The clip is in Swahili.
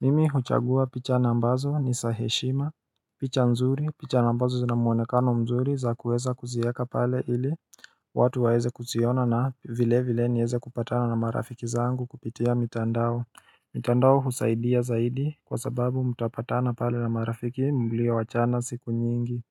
Mimi huchagua picha na ambazo ni saheshima picha nzuri picha na ambazo zina muonekano mzuri za kueza kuzieka pale ili watu waeze kuziona na vile vile nieze kupatana na marafiki zangu kupitia mitandao mitandao husaidia zaidi kwa sababu mtapatana pale na marafiki mlio wachana siku nyingi.